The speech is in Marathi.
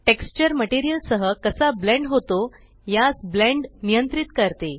टेक्सचर मटेरियल सह कसा ब्लेंड होतो यास ब्लेंड नियंत्रित करते